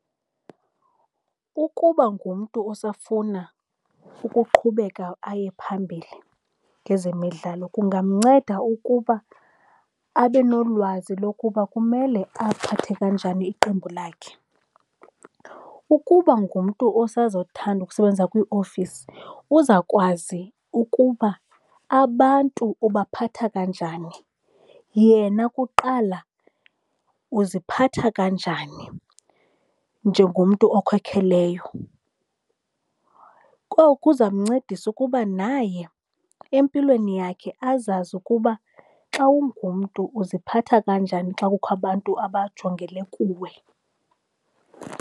Ukuba ngumntu osafuna ukuqhubeka aye phambili ngezemidlalo kungamnceda ukuba abe nolwazi lokuba kumele aphathe kanjani iqembu lakhe. Ukuba ngumntu osazothanda ukusebenza kwiiofisi uzakwazi ukuba abantu ubaphatha kanjani, yena kuqala uziphatha kanjani njengomntu okhokheleyo, kwaye kuza kumncedisa ukuba naye empilweni yakhe azazi ukuba xa ungumntu uziphatha kanjani xa kukho abantu abajongele kuwe.